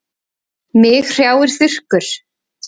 Mig hrjáir þurrkur.